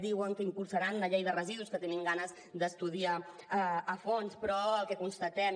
diuen que impulsaran una llei de residus que tenim ganes d’estudiar a fons però el que constatem